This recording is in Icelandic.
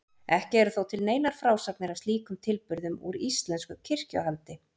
Ekki eru þó til neinar frásagnir af slíkum tilburðum úr íslensku kirkjuhaldi.